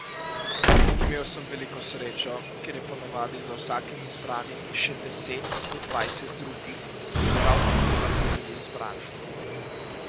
Imel sem veliko srečo, ker je ponavadi za vsakim izbranim še deset do dvajset drugih, ki bi prav tako lahko bili izbrani.